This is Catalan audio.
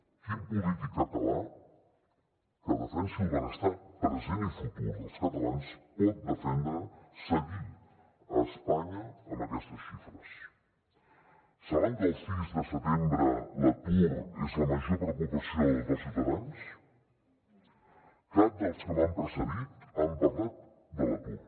quin polític català que defensi el benestar present i futur dels catalans pot defendre seguir a espanya amb aquestes xifres saben que al cis de setembre l’atur és la major preocupació dels ciutadans cap dels que m’han precedit ha parlat de l’atur